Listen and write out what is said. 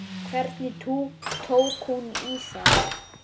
Hvernig tók hún í það?